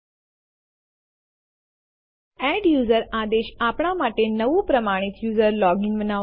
એક file copy કરવા માટે લખો સીપી સ્પેસ એક અથવા વધુ વિકલ્પ space સોર્સ ફાઈલનું નામ સ્પેસ ડેસ્ટ ફાઈલનું નામ